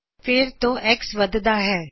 ਫੇਰ ਤੋਂ X ਵੱਧਦਾ ਹੈ